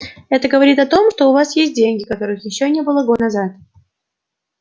это говорит о том что у вас есть деньги которых ещё не было год назад